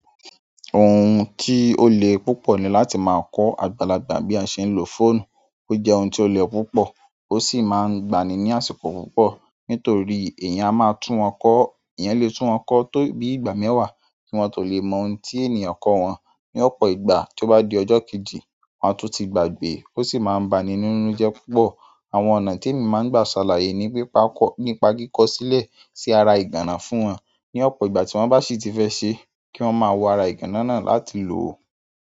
Ohun tí ó le púpọ̀ ni láti máa kọ́ àgbàlagbà bí a ṣe ń lo fóònù. Ó jẹ́ ohun tí ó le púpọ̀, ó sì máa ń gba ni ní àsìkò púpọ̀. Nítorí èèyàn a máa tún wọn kọ́, èèyàn lè tún wọn kọ́ tó bí i ìgbà mẹ́wàá kí wọ́n tó lè mọ ohun tí ènìyàn kọ́ wọn. Ni ọ̀pọ̀ ìgbà tí ó bá di ọjọ́ kejì, wọn a tún ti gbàgbè, ó sì máa ń ba ni nínú jẹ́ púpọ̀. Àwọn ọ̀nà ti emi ma n gba salaye ni nípa kiko sile si ara iganna fún won ni ọ̀pọ̀ ìgbà tí wọ́n bá sì ti fẹ́ ṣe, kí wọ́n máa wo ara ìgànnà náà láti lò ó.